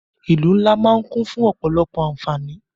Ìlú ńlá máà ń kún fún ọ̀pọ̀lọpọ̀ àǹfáání.